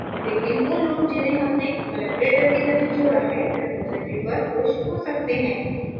लेकिन who लोग जिन्हे हमने collaborator की तरह जोड़ा है repository पर push हो सकते हैं